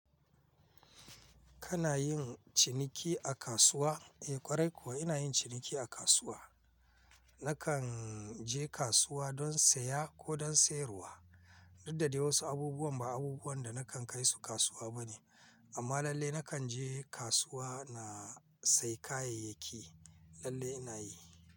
Kana yin ciniki a kasuwa? Eh ƙwarai kuwa ina yin ciniki a kasuwa. Na kan je kasuwa don saya ko don sayarwa, duk da dai wasu abubuwan ba abubuwan da nakan kai su kasuwa bane. Amma lallai nakan je kasuwa na sayi kayayyaki, lallai ina yi.